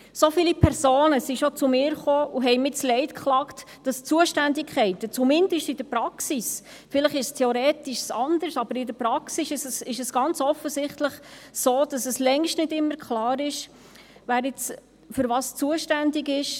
So viele Personen sind schon zu mir gekommen und haben mir das Leid geklagt, wonach die Zuständigkeiten zumindest in der Praxis – vielleicht ist es theoretisch anders – ganz offensichtlich so sind, dass es längst nicht immer klar ist, wer wofür zuständig ist.